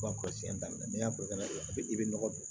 Ban kɔlɔsi daminɛ ni y'a bɔ ka don a bɛ nɔgɔ don